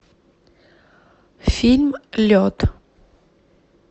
фильм лед